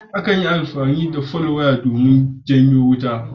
Akan yi amani da folwaya domin jawo wuta.